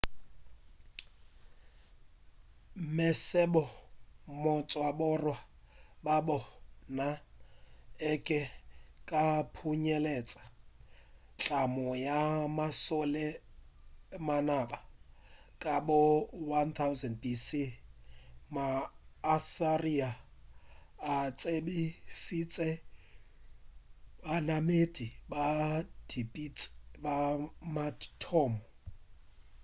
mesebo go tšwa go bora ba bona e be e ka phunyeletša tlhamo ya mašole a manaba ka bo 1000 b.c. ma assyria a tsebišitše banamedi ba dipitsi ba mathomo